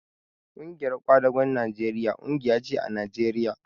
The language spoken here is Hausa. Ƙungiyar kwadagon Najeriya ƙungiya ce a Najeriya